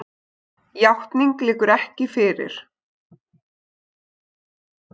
Játning liggur ekki fyrir.